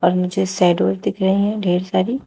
मुझे शैडो दिख रही हैं ढेर सारी।